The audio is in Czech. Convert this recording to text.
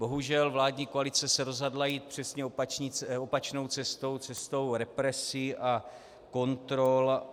Bohužel vládní koalice se rozhodla jít přesně opačnou cestou - cestou represí a kontrol.